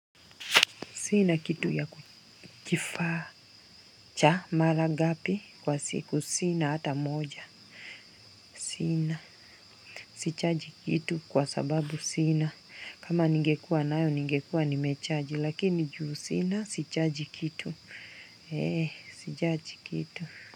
Sina kitu ya kuchifaa. Cha, mara ngapi kwa siku. Sina hata moja. Sina. Sichaji kitu kwa sababu sina. Kama ningekua nayo, ningekua nimechaji. Lakini juu sina, sichaji kitu. Eh, sijaji kitu.